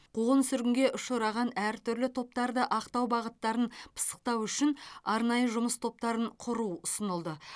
қуғын сүргінге ұшыраған әр түрлі топтарды ақтау бағыттарын пысықтау үшін арнайы жұмыс топтарын құру ұсынылды